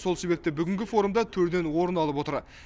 сол себепті форумда төрден орын алып отыр